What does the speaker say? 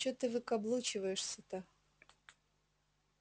что ты выкаблучиваешься-то